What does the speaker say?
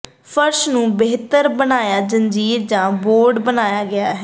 ਫਰਸ਼ ਨੂੰ ਬਿਹਤਰ ਬਣਾਇਆ ਜੰਜੀਰ ਜਾਂ ਬੋਰਡ ਬਣਾਇਆ ਗਿਆ ਹੈ